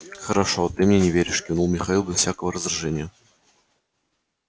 хорошо ты мне не веришь кивнул михаил без всякого раздражения